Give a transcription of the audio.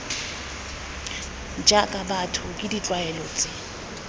jaaka batho ke ditlwaelo tse